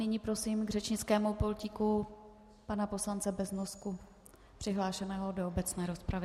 Nyní prosím k řečnickému pultíku pana poslance Beznosku přihlášeného do obecné rozpravy.